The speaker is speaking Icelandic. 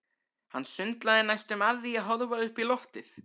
Hann sundlaði næstum af því að horfa upp í loftið.